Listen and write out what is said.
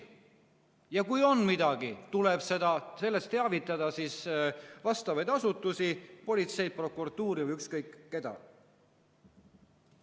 Ja kui midagi on, siis tuleb sellest teavitada vastavaid asutusi: politseid, prokuratuuri või ükskõik keda.